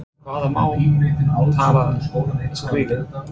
En hvaða mál talar skrílinn?